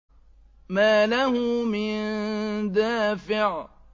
مَّا لَهُ مِن دَافِعٍ